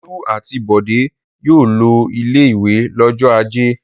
Olú àti Bọ̀dé yóò lọ ilé-ìwé lọ́jọ́ ajé.